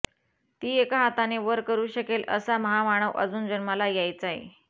ती एका हाताने वर करू शकेल असा महामानव अजून जन्माला यायचाय